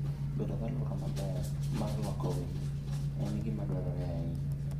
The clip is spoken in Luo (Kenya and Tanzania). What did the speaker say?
Bedo gi alwora maber mar rwako winy en gima dwarore ahinya.